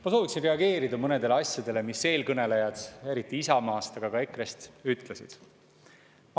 Ma soovin reageerida mõnedele asjadele, mida eelkõnelejad, eriti Isamaast, aga ka EKRE‑st, ütlesid.